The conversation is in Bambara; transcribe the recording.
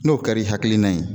N'o kɛr'i hakilina ye